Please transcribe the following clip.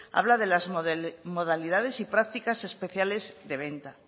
habla de las modalidades y prácticas especiales de venta